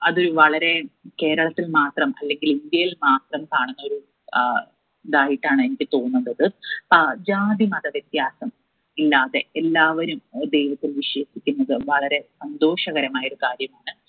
അത് വളരെ കേരളത്തിൽ മാത്രം അല്ലെങ്കിൽ ഇന്ത്യയിൽ മാത്രം കാണുന്നൊരു ആഹ് ഇതായിട്ടാണ് എനിക്ക് തോന്നുന്നത് ആഹ് ജാതിമത വ്യത്യാസം ഇല്ലാതെ എല്ലാവരും ഒരു ദൈവത്തിൽ വിശ്വസിക്കുന്നത് വളരെ സന്തോഷകരമായ ഒരു കാര്യമാണ്‌